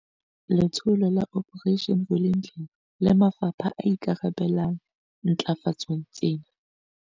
Letsholo la Operation Vulindlela le mafapha a ikarabellang ntlafatsong tsena.